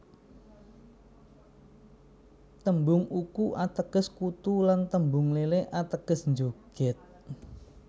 Tembung uku ateges kutu lan tembung lele ateges njogèd